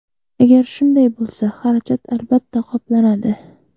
Agar shunday bo‘lsa, xarajat albatta qoplanadi”.